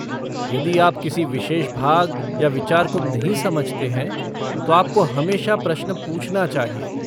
यदि आप किसी विशेष भाग या विचार को नहीं समझते हैं तो आपको हमेशा प्रश्न पूछना चाहिए।